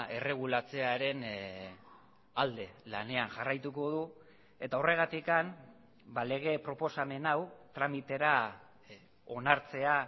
erregulatzearen alde lanean jarraituko du eta horregatik lege proposamen hau tramitera onartzea